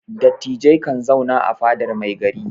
Dattijai kan zauna a fadar mai gari.